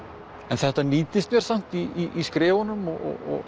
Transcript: þetta nýtist mér samt í skrifunum og